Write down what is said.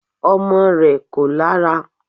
Ọmọ rẹ̀ kò lára